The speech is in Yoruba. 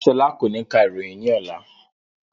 Rárá, ṣọlá kò ní ka ìròyìn ní ọlá